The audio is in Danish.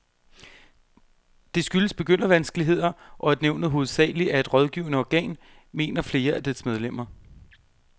Det skyldes begyndervanskeligheder, og at nævnet hovedsageligt er et rådgivende organ, mener flere af dets medlemmer.